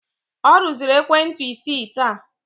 Ọ rụziri ekwentị isii taa